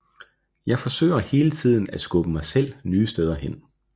Jeg forsøger hele tiden at skubbe mig selv nye steder hen